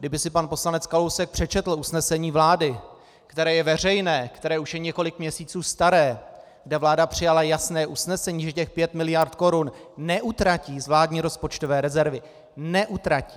Kdyby si pan poslanec Kalousek přečetl usnesení vlády, které je veřejné, které už je několik měsíců staré, kde vláda přijala jasné usnesení, že těch pět miliard korun neutratí z vládní rozpočtové rezervy - neutratí!